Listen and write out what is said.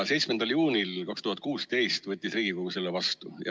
7. juunil 2016 võttis Riigikogu selle vastu.